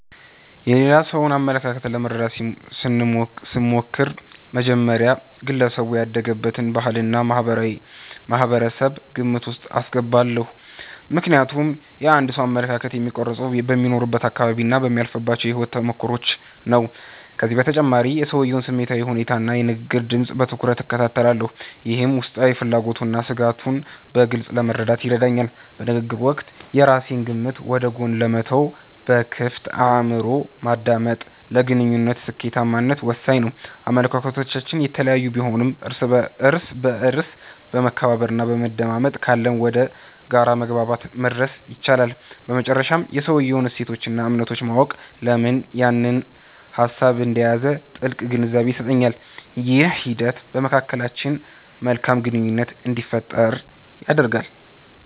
የሌላ ሰውን አመለካከት ለመረዳት ስሞክር፣ በመጀመሪያ ግለሰቡ ያደገበትን ባህልና ማህበረሰብ ግምት ውስጥ አስገባለሁ። ምክንያቱም የአንድ ሰው አመለካከት የሚቀረፀው በሚኖርበት አካባቢና በሚያልፍባቸው የህይወት ተሞክሮዎች ነው። ከዚህም በተጨማሪ የሰውየውን ስሜታዊ ሁኔታና የንግግር ድምፅ በትኩረት እከታተላለሁ፤ ይህም ውስጣዊ ፍላጎቱንና ስጋቱን በግልፅ ለመረዳት ይረዳኛል። በንግግር ወቅት የራሴን ግምት ወደ ጎን በመተው በክፍት አእምሮ ማዳመጥ፣ ለግንኙነቱ ስኬታማነት ወሳኝ ነው። አመለካከቶች የተለያዩ ቢሆኑም፣ እርስ በእርስ መከባበርና መደማመጥ ካለ ወደ የጋራ መግባባት መድረስ ይቻላል። በመጨረሻም የሰውየውን እሴቶችና እምነቶች ማወቅ፣ ለምን ያንን ሀሳብ እንደያዘ ጥልቅ ግንዛቤን ይሰጠኛል። ይህ ሂደት በመካከላችን መልካም ግንኙነት እንዲፈጠር ያደርጋል።